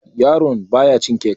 yaraon baya cin kek